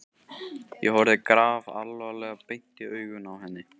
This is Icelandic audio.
Ég horfði grafalvarleg beint í augun á henni.